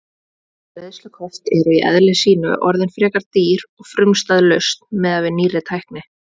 Greiðslukort eru í eðli sínu orðin frekar dýr og frumstæð lausn miðað við nýrri tækni.